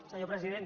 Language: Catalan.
senyor president